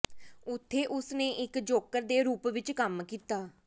ਉੱਥੇ ਉਸ ਨੇ ਇੱਕ ਜੋਕਰ ਦੇ ਰੂਪ ਵਿੱਚ ਕੰਮ ਕੀਤਾ